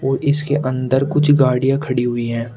और इसके अंदर कुछ गाड़ियां खड़ी हुई हैं।